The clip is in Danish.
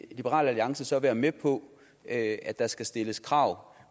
liberal alliance så være med på at der skal stilles krav